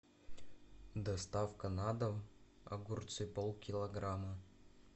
доставка на дом огурцы полкилограмма